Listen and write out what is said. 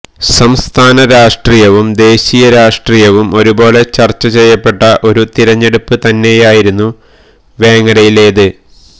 സംസ്ഥാന രാഷ്ട്രീയവും ദേശീയ രാഷ്ട്രീയവും ഒരേപോലെ ചര്ച്ച ചെയ്യപ്പെട്ട ഒരു തിരഞ്ഞെടുപ്പ് തന്നെയായിരുന്നു വേങ്ങരയിലേത്